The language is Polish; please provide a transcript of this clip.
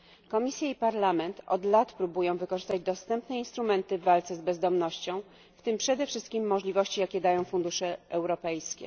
Komisja i Parlament od lat próbują wykorzystać dostępne instrumenty w walce z bezdomnością, w tym przede wszystkim możliwości, jakie dają fundusze europejskie.